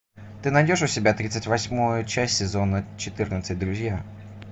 ты найдешь у себя тридцать восьмую часть сезона четырнадцать друзья